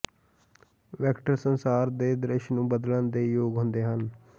vector ਸੰਸਾਰ ਦੇ ਦ੍ਰਿਸ਼ ਨੂੰ ਬਦਲਣ ਦੇ ਯੋਗ ਹੁੰਦੇ ਹਨ